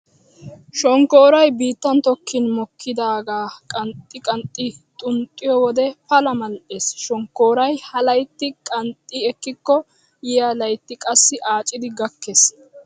Shonkkooroy biittan tokkin mokkidaagaa qanxxi qanxxi xuuxxiyo wode pala mal'ees. Shonkkooroy ha laytti qanxxi ekkikko yiya laytti qassi aacidi gakkees.